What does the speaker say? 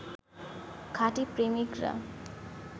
খাঁটি প্রেমিকরা